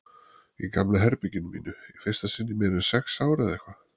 Í gamla herberginu mínu, í fyrsta sinn í meira en sex ár eða eitthvað.